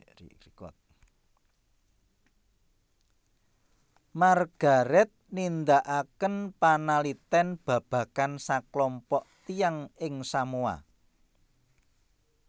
Margaret nindakaken panalitèn babagan saklompok tiyang ing Samoa